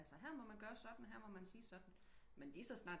Altså her må man gøre sådan her må man sige sådan men lige så snart